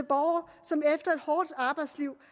borgere som efter et hårdt arbejdsliv